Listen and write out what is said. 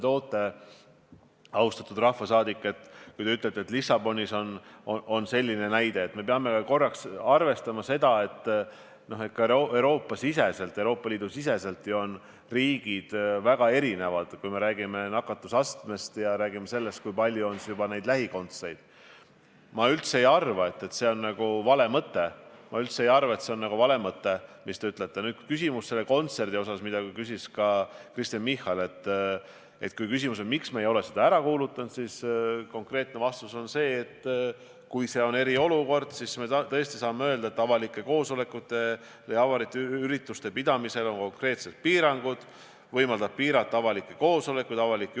Tegu on tõepoolest väga rahvusvahelise seltskonnaga ja suhteliselt suure riskikoldega.